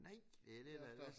Nej det dét der er lidt